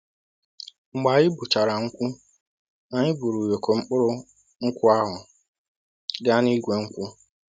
Mgbe anyị gbuchara nkwụ, anyị buru ụyọkọ mkpụrụ nkwụ ahụ gaa n'igwe nkwụ.